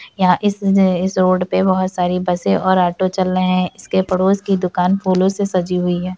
यहाँ इस इस रोड पे बहुत सारी बसें और ऑटो चल रहें हैं इसके पडोस की दुकान फूलों से सजी हुई है।